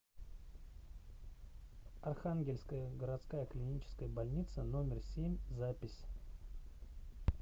архангельская городская клиническая больница номер семь запись